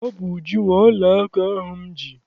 Ọ bụ Uju nwe ọla aka ahụ m ji.